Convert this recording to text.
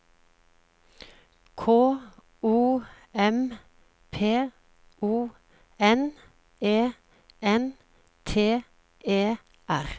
K O M P O N E N T E R